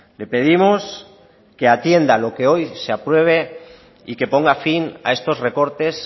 le pedimos que atienda lo que hoy se apruebe y que ponga fin a estos recortes